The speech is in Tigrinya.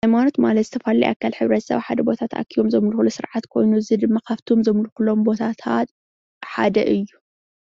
ሃይመኖይ ማለት ዝተፈላለዩ ሕብረተሰብ ኣብ ሓደ ተኣኪቦም ዘገልግልሉ ስርዓት ኮይኑ እዚ ድማካብቶም ዘምልኩሎም ቦታታት ሓደ እዩ፡፡